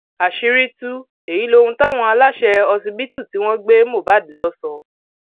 àṣírí tú èyí lóhun táwọn aláṣẹ ọsibítù tí wọn gbé mohbad lọ sọ